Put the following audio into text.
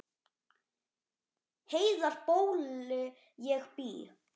Heiðar bóli ég bý.